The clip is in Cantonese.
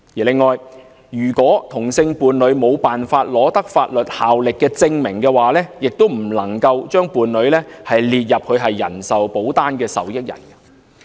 此外，如果同性伴侶無法取得具法律效力的證明，亦不能夠把伴侶列入人壽保單的受益人。